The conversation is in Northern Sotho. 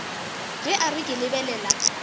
ge a re ke lebelela